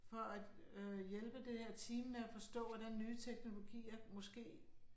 For at øh hjælpe det her team med at forstå, hvordan nye teknologier måske